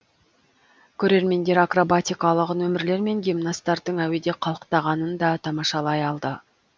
көрермендер акробатикалық нөмірлер мен гимнастардың әуеде қалықтағанын да тамашалай алды